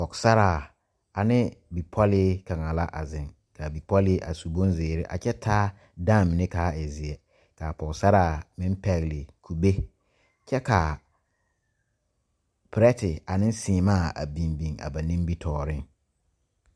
Pɔgesaraa ane bipɔlee kaŋa la a zeŋ ka a bipɔlee a su bonzeere kyɛ taa dãã mine ka a e zeɛ k,a pɔgesaraa meŋ pɛgle kugbe kyɛ ka perɛte ane seemaa a biŋ biŋ a ba nimitɔɔreŋ.